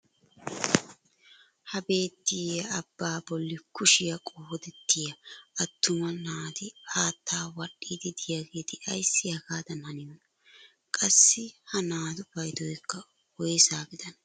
Ha beettiyaa abbaa bolli kushshiyaa qoodettiyaa attuma naati haattaa wadhiidi de'iyaageti ayssi hagaadan haniyoonaa? qassi ha naatu paydoykka woyssa gidanee?